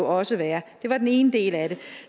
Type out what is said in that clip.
også være det var den ene del af det